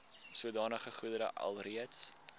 sodanige goedere alreeds